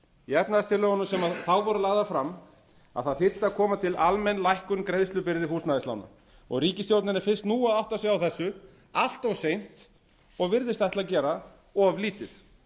í efnahagstillögunum sem þá voru lagðar fram að það þyrfti að koma til almenn lækkun greiðslubyrði húsnæðislána og ríkisstjórnin er fyrst nú að átta sig á þessu allt of seint og virðist ætla að gera of lítið